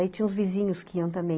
Aí tinha os vizinhos que iam também.